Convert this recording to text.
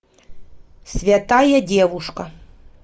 святая девушка